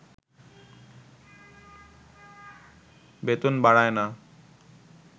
বেতন বাড়ায়না